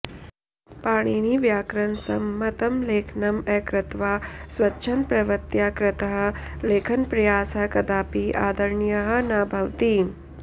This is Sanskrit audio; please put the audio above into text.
पाणिनिव्याकरणसम्मतं लेखनम् अकृत्वा स्वच्छन्दप्रवृत्या कृतः लेखनप्रयासः कदापि आदरणीयः न भवति